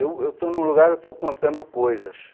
Eu eu estou num lugar, eu estou contando coisas.